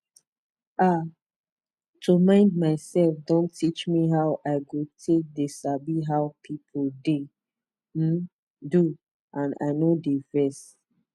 ah to mind my sef don teach me how i go take d sabi how pipu de um do and i nor de vex